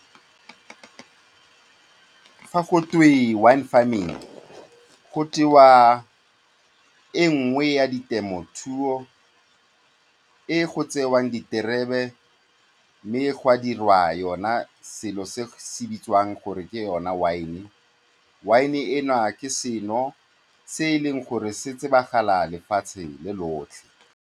Fa gotwe wine farming, go tewa e nngwe ya ditemothuo tse go tsewang diterebe mme ga dirwa yona selo se se bitswang gore ke yone wine-e. Wine-e ena ke seno se e leng gore se tsebagala lefatshe le lotlhe.